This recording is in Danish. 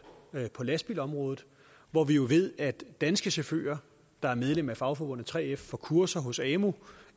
på lastbilområdet hvor vi jo ved at danske chauffører der er medlem af fagforbundet 3f får kurser hos amu